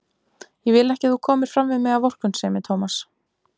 Ég vil ekki að þú komir fram við mig af vorkunnsemi, Tómas.